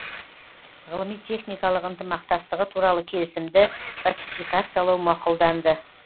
ғылыми техникалық ынтымақтастығы туралы келісімді ратификациялау мақұлданды